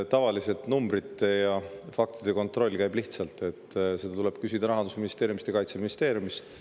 Tavaliselt käib numbrite ja faktide kontroll lihtsalt: tuleb küsida Rahandusministeeriumist ja Kaitseministeeriumist.